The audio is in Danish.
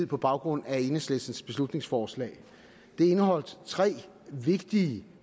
på baggrund af enhedslistens beslutningsforslag det indeholdt tre vigtige